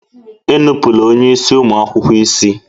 Enupụla onye isi ụmụ akwụkwọ isi!